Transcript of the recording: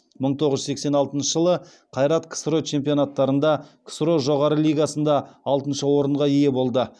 мың тоғыз жүз сексен алтыншы жылы қайрат ксро чемпионаттарында ксро жоғары лигасында алтыншы орынға ие болды